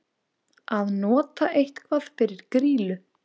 Að nota eitthvað fyrir grýlu